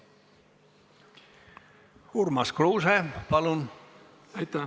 Urmas Kruuse, palun!